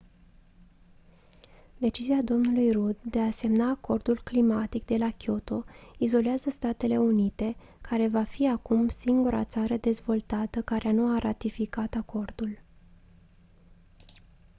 decizia dlui rudd de a semna acordul climatic de la kyoto izolează statele unite care va fi acum singura țară dezvoltată care nu a ratificat acordul